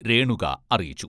രേണുക അറിയിച്ചു.